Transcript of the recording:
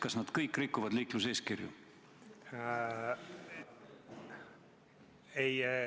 Kas nad kõik rikuvad liikluseeskirja?